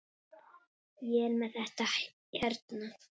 Ég er með þetta hérna.